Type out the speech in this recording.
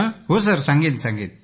हो सांगेन सर